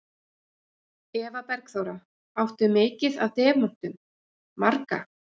Eva Bergþóra: Áttu mikið af demöntum, marga?